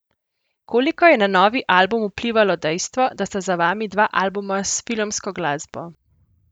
Koliko je na novi album vplivalo dejstvo, da sta za vami dva albuma s filmsko glasbo?